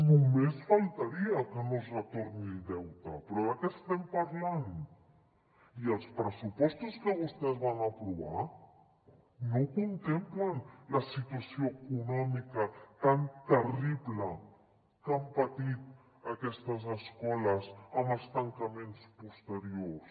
només faltaria que no es retornés el deute però de què estem parlant i els pressupostos que vostès van aprovar no la contemplen la situació econòmica tan terrible que han patit aquestes escoles amb els tancaments posteriors